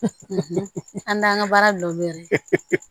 An t'an ka baara bila olu yɛrɛ ye